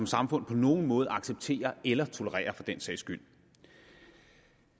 samfund på nogen måde acceptere eller tolerere for den sags skyld